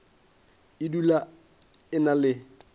e dula e na le